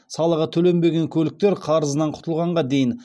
салығы төленбеген көліктер қарызынан құтылғанға дейін